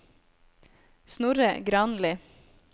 Snorre Granli